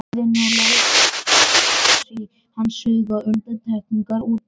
Hlýðni við lögin var skilyrðislaus í hans huga, undantekningar útilokaðar.